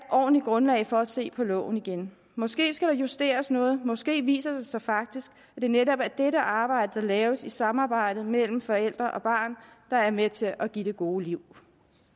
ordentligt grundlag for at se på loven igen måske skal der justeres noget måske viser det sig faktisk at det netop er dette arbejde der laves i samarbejde mellem forældre og barn der er med til at give det gode liv